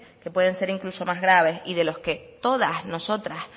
que pueden ser incluso más graves y de los que todas nosotras